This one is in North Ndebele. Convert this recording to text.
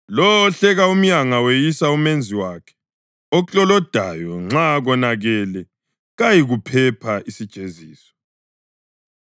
Lowo ohleka umyanga weyisa uMenzi wakhe; oklolodayo nxa konakele kayikuphepha isijeziso.